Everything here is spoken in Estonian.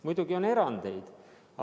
Muidugi on erandeid.